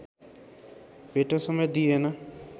भेट्न समेत दिइएन